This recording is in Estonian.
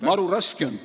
Maru raske on.